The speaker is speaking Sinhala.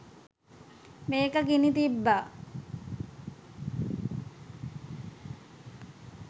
මේක ගිනි තිබ්බා.